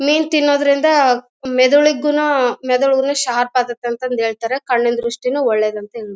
ಮೀನು ತಿನ್ನೋದರಿಂದ ಮೆದುಳುಗುನು ಮೆದುಳುಗುನು ಶಾರ್ಪ್ ಆಗುತ್ತೆ ಅಂತ ಹೇಳ್ತಾರೆ ಕಣ್ಣಿನ ದೃಷ್ಟಿಗೂ ಒಳ್ಳೇದಂತೆ.